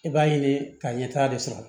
I b'a ɲini ka ɲɛtaa de sɔrɔ